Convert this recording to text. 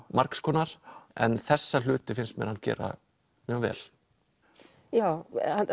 margskonar en þessa hluti finnst mér hann gera mjög vel já